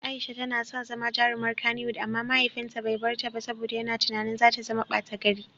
Aisha tana son zama jarumar Kannywood amma mahaifinta bai bar ta ba saboda yana tunanin za ta zama bata gari.